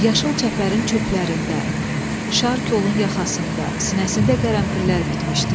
Yaşıl çəpərin çöplərində, şar kolun yaxasında, sinəsində qərənfillər bitmişdi.